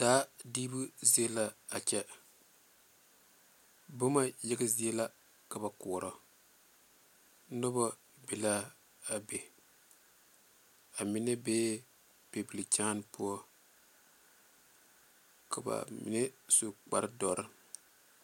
Daa dibo zieŋ la a kyɛ boma yaga zie la ka ba kore noba be la a be amine be pɛbelikyenepoɔka ba mine su kpaare dɔrɔ.